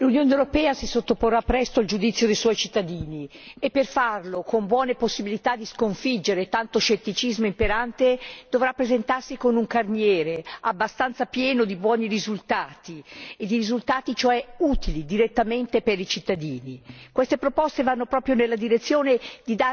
Signor Presidente, onorevoli colleghi, l'Unione europea si sottoporrà presto al giudizio dei suoi cittadini e per farlo con buone possibilità di sconfiggere tanto scetticismo imperante dovrà presentarsi con un carniere abbastanza pieno di buoni risultati, cioè risultati direttamente utili per i cittadini.